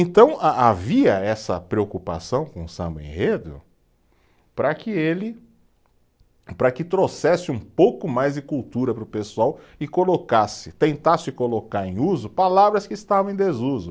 Então, a havia essa preocupação com o samba-enredo para que ele, para que trouxesse um pouco mais de cultura para o pessoal e colocasse, tentasse colocar em uso palavras que estavam em desuso.